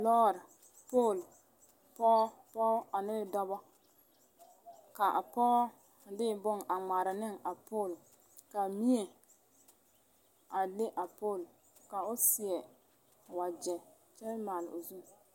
lɔɔre, pol, pɔge ane dɔba, ka a pɔga a de bon a ŋmaara ne a pol kaa mie a leŋ a pol ka o seɛ wagyɛ a kyɛ maale o zu.